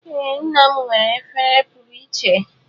Ee nna m nwere efere pụrụ iche.